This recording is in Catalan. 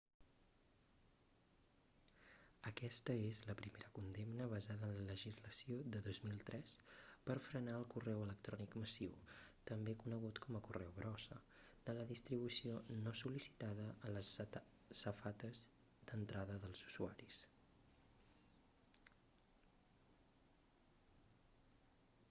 aquesta és la primera condemna basada en la legislació de 2003 per frenar el correu electrònic massiu també conegut com a correu brossa de la distribució no sol·licitada a les safates d'entrada dels usuaris